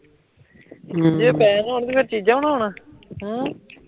ਜੇ ਪੈਹੇ ਨਾ ਹੋਣ ਅਮ